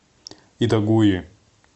итагуи